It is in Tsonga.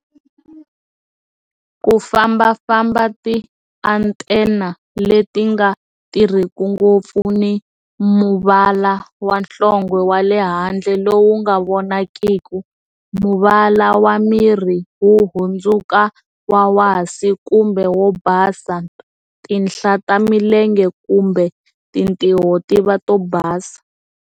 Ku fambafamba, ti-antenna leti nga tirhiki ngopfu ni muvala wa nhlonge wa le handle lowu nga vonakiki, muvala wa miri wu hundzuka wa wasi kumbe wo basa, tinhla ta milenge kumbe tintiho ti va to basa.